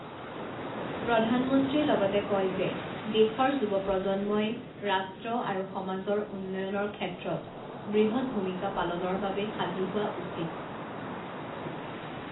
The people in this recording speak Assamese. প্ৰধানমন্ত্ৰীয়ে লগতে কয় যে দেশৰ যুৱপ্ৰজন্মই ৰাষ্ট্ৰ আৰু সমাজৰ উন্নয়নৰ ক্ষেত্ৰত বৃহৎ ভূমিকা পালনৰ বাবে সাজূ হোৱা উচিৎ।